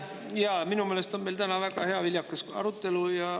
Jaa, minu meelest on meil täna väga hea ja viljakas arutelu.